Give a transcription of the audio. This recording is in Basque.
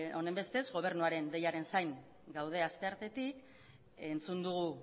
honenbestez gobernuaren deiaren zain gaude asteartetik entzun dugu